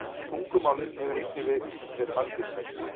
Tungumálið hefur einnig verið margvíslegt.